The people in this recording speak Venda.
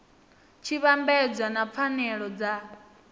tshi vhambedzwa na pfanelo dza